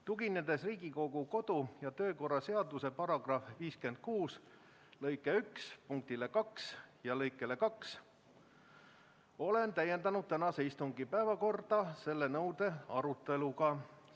Tuginedes Riigikogu kodu- ja töökorra seaduse § 56 lõike 1 punktile 2 ja lõikele 2, olen tänase istungi päevakorda täiendanud selle nõude aruteluga.